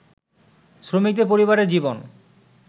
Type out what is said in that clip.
শ্রমিকদের পরিবারের জীবন